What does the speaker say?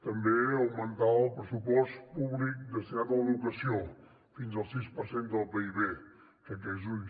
també augmentar el pressupost públic destinat a l’educació fins al sis per cent del pib